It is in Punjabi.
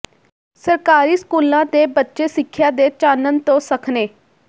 ਸਰਕਾਰੀ ਸਕੂਲਾਂ ਦੇ ਬੱਚੇ ਸਿੱਖਿਆ ਦੇ ਚਾਨਣ ਤੋਂ ਸੱਖਣੇ